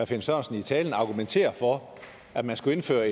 finn sørensen i talen argumenterede for at man skulle indføre